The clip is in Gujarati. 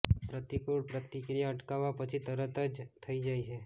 પ્રતિકૂળ પ્રતિક્રિયા અટકાવવા પછી તરત જ થઈ જાય છે